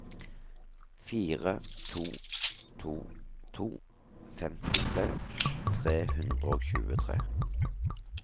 fire to to to femtitre tre hundre og tjuetre